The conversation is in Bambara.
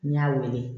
N y'a wele